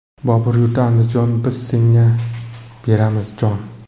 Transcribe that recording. Bobur yurti Andijon, biz senga beramiz jon!